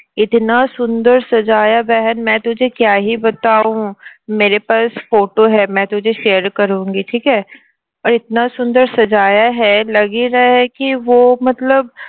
photo share